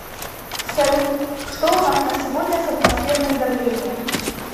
салют что у нас на сегодня с атмосферным давлением